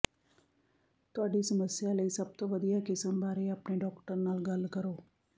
ਤੁਹਾਡੀ ਸਮੱਸਿਆ ਲਈ ਸਭ ਤੋਂ ਵਧੀਆ ਕਿਸਮ ਬਾਰੇ ਆਪਣੇ ਡਾਕਟਰ ਨਾਲ ਗੱਲ ਕਰੋ